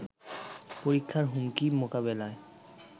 পরীক্ষার হুমকি মোকাবেলায়